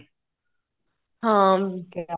ਹਾਂ